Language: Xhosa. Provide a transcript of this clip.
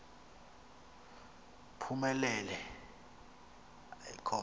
phumelela i com